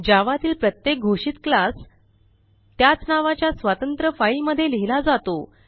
Javaतील प्रत्येक घोषितclass त्याच नावाच्या स्वतंत्र फाईलमध्ये लिहिला जातो